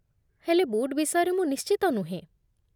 ହେଲେ ବୁଟ୍ ବିଷୟରେ ମୁଁ ନିଶ୍ଚିତ ନୁହେଁ ।